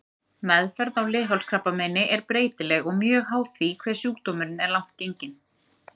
Meðferð á leghálskrabbameini er breytileg og mjög háð því hve sjúkdómurinn er langt genginn.